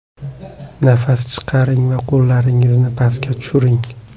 Nafas chiqaring va qo‘llaringizni pastga tushiring.